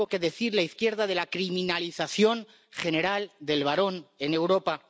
¿Tiene algo que decir la izquierda de la criminalización general del varón en Europa?